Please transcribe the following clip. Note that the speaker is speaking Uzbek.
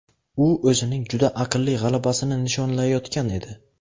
U o‘zining juda aqlli g‘alabasini nishonlayotgan edi.